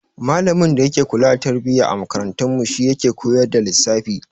Malamin da yake kula da tarbiyya a makarantarmu shi yake koyar da lissafi.